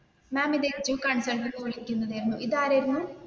മാം ഇത് ഇത് ആരായിരുന്നു?